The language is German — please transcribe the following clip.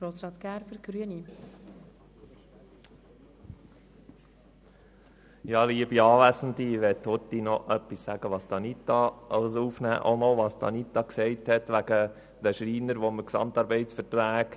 Ichnehme noch einmal Bezug auf das, was Anita Luginbühl betreffend den GAV der Schreiner gesagt hat: